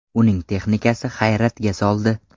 Uning texnikasi hayratga soldi.